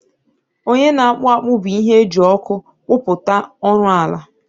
onye na-akpụ akpụ bụ ihe eji ọkụ kpụpụta ọrụ ọla